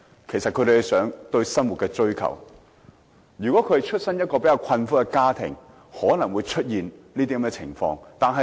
其實這是他們對生活的追求，如果他們生於較為困苦的家庭，便可能出現這種情況。